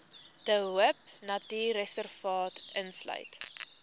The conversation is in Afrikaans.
de hoopnatuurreservaat insluit